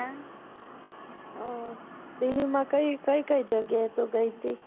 delhi માં કઈ કઈ કઈ જયાએ તું ગયી થી